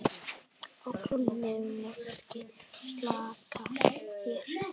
Á klónni máski slaka hér.